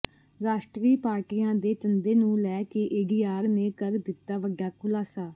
ਰਾਸ਼ਟਰੀ ਪਾਰਟੀਆਂ ਦੇ ਚੰਦੇ ਨੂੰ ਲੈ ਕੇ ਏਡੀਆਰ ਨੇ ਕਰ ਦਿੱਤਾ ਵੱਡਾ ਖ਼ੁਲਾਸਾ